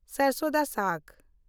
ᱥᱟᱨᱥᱳᱸ ᱫᱟ ᱥᱟᱜᱽ